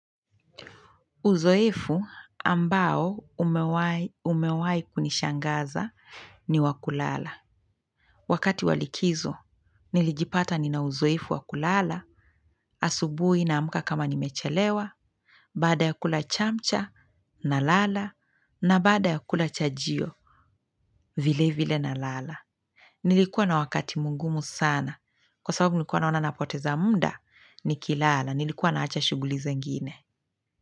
Uzoefu ambao umewahi kunishangaza ni wakulala. Wakati walikizo, nilijipata ninauzoefu wakulala, asubuhi nsamka kama nimechelewa, baada ya kula chamcha na lala, na bada ya kula chajio vile vile nalala. Nilikuwa na wakati mungumu sana. Kwa sababu nilikuwa naona napoteza muda, nikilala. Nilikuwa naacha shughuli zingine.